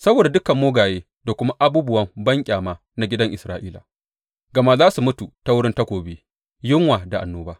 Saboda dukan mugaye da kuma abubuwan banƙyama na gidan Isra’ila, gama za su mutu ta wurin takobi, yunwa da annoba.